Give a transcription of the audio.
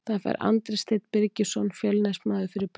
Það fær Andri Steinn Birgisson Fjölnismaður fyrir brot.